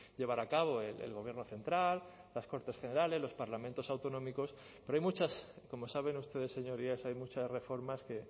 llevar a cabo el gobierno central las cortes generales los parlamentos autonómicos pero hay muchas como saben ustedes señorías hay muchas reformas que